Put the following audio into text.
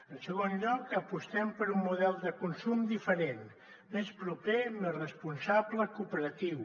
en segon lloc apostem per un model de consum diferent més proper més responsable cooperatiu